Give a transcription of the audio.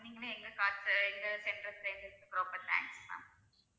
நீங்களும் எங்க card உ எங்க center அ தேர்ந்த்தெடுத்ததுக்கு ரொம்ப thanks ma'am